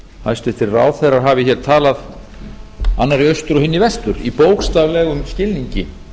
hæstvirtir ráðherrar hafi hér talað annar í austur og hinn í vestur í bókstaflegum skilningi